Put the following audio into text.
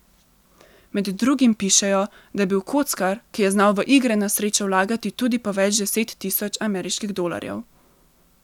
Med drugim pišejo, da je bil kockar, ki je znal v igre na srečo vlagati tudi po več deset tisoč ameriških dolarjev.